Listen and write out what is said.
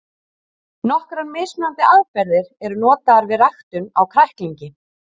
Nokkrar mismunandi aðferðir eru notaðar við ræktun á kræklingi.